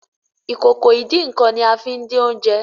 Ìkòkò ìdín-nǹkan ní a fín dín Oúnjẹ